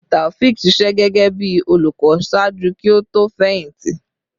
Taofiq ṣiṣẹ gẹgẹbi olukọ ṣaaju ki o to fẹyìntì